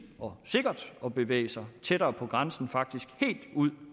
og sikkert at bevæge sig tættere på grænsen faktisk helt ud